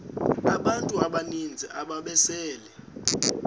abantu abaninzi ababesele